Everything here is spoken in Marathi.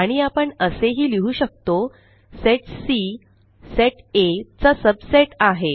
आणि आपण असेही लिहु शकतो सेट सी सेट आ चा सबसेट आहे